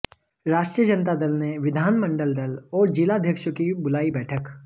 राष्ट्रीय जनता दल ने विधानमंडल दल और जिलाध्यक्षों की बुलाई बैठक